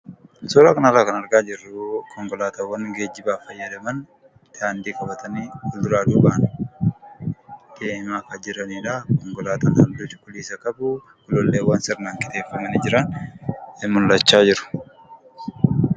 Suuraa kanarraa kan argaa jirru konkolaataawwan geejjibaaf fayyadaman daandii qabatanii tartiibaan deemaa akka jiranidha. Konkolaataawwan qixaan sirreeffamanii hiriiranii jiru.